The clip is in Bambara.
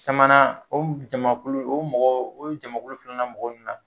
Sabanan o jamakulu o mɔgɔw o jamakulu filanan mɔgɔ ninnu na